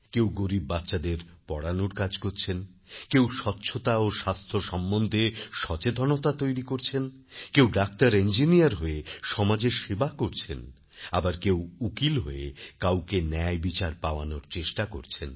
কেউ গরীব বাচ্চাদের পড়ানোর কাজ করছেন কেউ স্বচ্ছতা ও স্বাস্থ্য সম্বন্ধে সচেতনতা তৈরি করছেন কেউ ডাক্তারইঞ্জিনিয়ার হয়ে সমাজের সেবা করছেন আবারকেউ উকিল হয়ে কাউকে ন্যায়বিচারপাওয়ানোর চেষ্টা করছেন